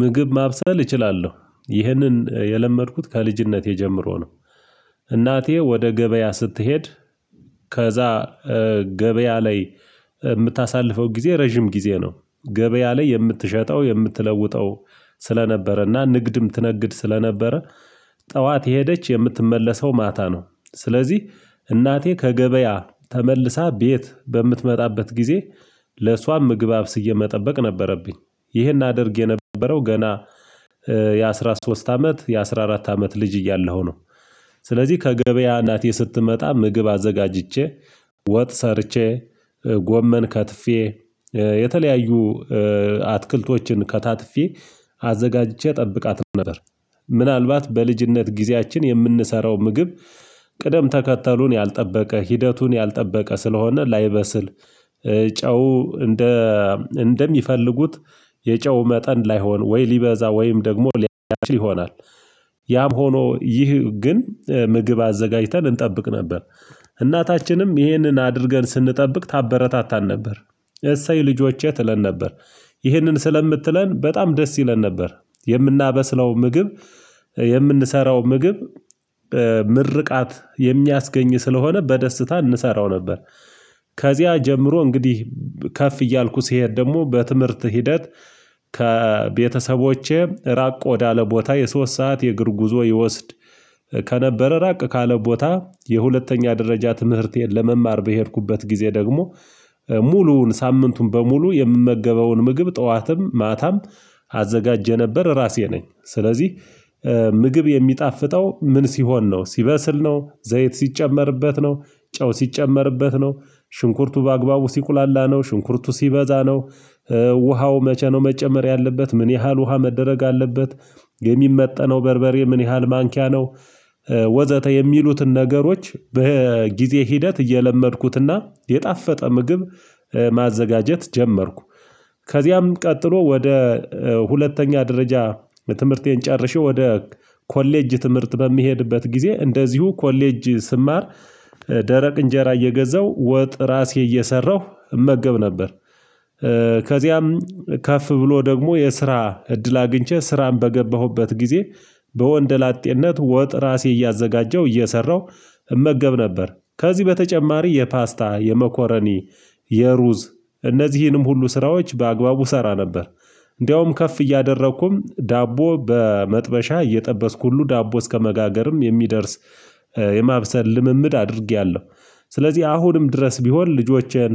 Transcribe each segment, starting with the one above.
ምግብ ማብሰል እችላለሁ ይህንን የለመድኩት ከልጅነቴ ጀምሮ ነው። እናቴ ወደ ገበያ ስትሄድ ከዛ ገበያ ላይ ምታሳልፈው ግዜ ረጅም ግዜ ነው። ገበያ ላይ የምትሸጠው የምትለውጠው ስለነበረና ንግድም ትነግድ ስለነበረ። ጠዋት የሄደች የምትመለሰው ማታ ነው። ስለዚህ እናቴ ከገበያ ተመልሳ ቤት በምትመጣበት ጊዜ ለእሷም ምግብ አብስዬ መጠበቅ ነበረብኝ። ይህን አድርግ የነበረው ገና የአሥራ ሶስት አመት የአሥራ አራት አመት ልጅ እያለሁ ነው። ስለዚህ ከገበያ እናቴ ስትመጣ ምግብ አዘጋጅቼ ወጥ ሰርቼ ጎመን ከትፌ የተለያዩ አትክልቶችን ከታትፌ አዘጋጅቼ እጠብቃት ነበር። ምናልባት በልጅነት ግዚያችን የምንሰራው ምግብ ቅደም ተከተሉን ያልጠበቀ ሂደቱን ያልጠበቀ ስለሆነ ላይበስል ጨው እንደ እንደሚፈልጉት የጨው መጠን ላይሆን ወይ ሊበዛ ወይም ደግሞ ሊያችል ይሆናል። ያም ሆኖ ይህ ግን ምግብ አዘጋጅተን እንጠብቅ ነበር። እናታችንም ይህንን አድርገን ስንጠብቅ ታበረታታን ነበር። እሰይ ልጆቼ ትለን ነበር። ይህንን ስለምትለን በጣም ደስ ይለን ነበር። የምናበስለው ምግብ የምንሰራው ምግብ ምርቃት የሚያስገኝ ስለሆነ በደስታ እንሰራው ነበር። ከዚያ ጀምሮ እንግዲህ ከፍ እያልኩ ስሄድ ደሞ በትምህርት ሂደት ከቤተሰቦቼ ራቅ ወዳለ ቦታ የሶስት ሰዓት የእግር ጉዞ ይወስድ። ከነበረ ራቅ ካለ ቦታ የሁለተኛ ደረጃ ትምህርቴን ለመማር በሄድኩበት ጊዜ ደግሞ ሙሉውን ሳምንቱን በሙሉ የምመገበውን ምግብ ጠዋትም ማታም አዘጋጀ የነበር ራሴ ነኝ ስለዚህ። ምግብ የሚጣፍጠው ምን ሲሆን ነው ሲበስል ነው ዘይት ሲጨመርበት ነው። ጨው ሲጨመርበት ነው ሽንኩርቱ በአግባቡ ሲቁላላ ነው ሽንኩርቱ ሲበዛ ነው። ውሃው መቼ ነው መጨመር ያለበት ምን ያህል ውሃ መደረግ አለበት? የሚመጠነው በርበሬ ምን ያህል ማንኪያ ነው? ወዘተ የሚሉትን ነገሮች በጊዜ ሂደት እየለመድኩትና የጣፈጠ ምግብ ማዘጋጀት ጀመርኩ። ከዚያም ቀጥሎ ወደ ሁለተኛ ደረጃ ትምህርቴን ጨርሼ ወደ ኮሌጅ ትምህርት በምሄድበት ጊዜ እንደዚሁ ኮሌጅ ስማር ደረቅ እንጀራ እየገዛው ወጥ ራሴ እየሰራሁ እመገብ ነበር። ከዚያም ከፍ ብሎ ደግሞ የስራ እድል አግኝቼ ስራን በገባሁበት ግዜ በወንድ ላጤነት ወጥ ራሴ እያዘጋጀሁ እየሰራሁ እመገብ ነበር። ከዚህ በተጨማሪ የፓስታ የመኮረኒ የሩዝ እነዚህንም ሁሉ ስራዎች በአግባቡ እሰራ ነበር። እንዳውም ከፍ እያደረኩም ዳቦ በመጥበሻ እየጠበስኩ ሁሉ ዳቦ እስከመጋገርም የሚደርስ የማብሰል ልምምድ አድርጌያለሁ። ስለዚህ አሁንም ድረስ ቢሆን ልጆቼን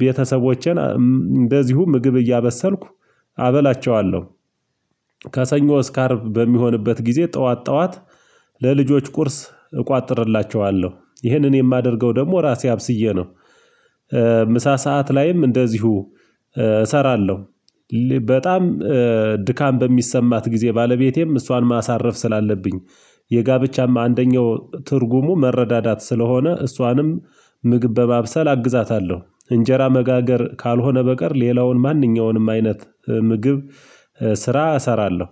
ቤተሰቦቼን እንደዚሁ ምግብ እያበሰልኩ አበላቸዋለሁ። ከሰኞ እስከ አርብ በሚሆንበት ግዜ ጠዋት ጠዋት ለልጆች ቁርስ እቆጥርላቸዋለሁ ይህንን የማደርገው ደግሞ ራሴ አብስዬ ነው። ምሳ ሰዓት ላይም እንደዚሁ እሰራለሁ። በጣም ድካም በሚሰማት ጊዜ ባለቤቴም እሷን ማሳረፍ ስላለብኝ የጋብቻም አንደኛው ትርጉሙ መረዳዳት ስለሆነ እሷንም ምግብ በማብሰል አግዛታለሁ። እንጀራ መጋገር ካልሆነ በቀር ሌላውን ማንኛውንም አይነት ምግብ ስራ እሰራለሁ